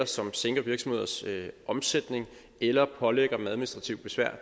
som sænker virksomheders omsætning eller pålægger dem administrativt besvær